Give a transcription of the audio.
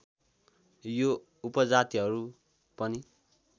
यो उपजातिहरू पनि